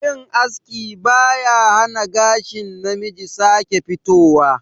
Yin aski ba ya hana gashin namiji sake fitowa